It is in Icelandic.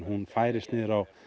hún færist niður á